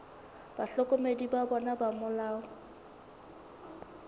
bahlokomedi ba bona ba molao